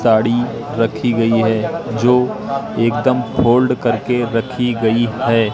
साड़ी रखी गई है जो एकदम फोल्ड करके रखी गई है।